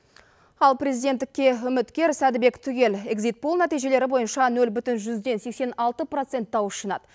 ал президенттікке үміткер сәдібек түгел эгзит пул нәтижелері бойынша нөл бүтін жүзден сексен алты процент дауыс жинады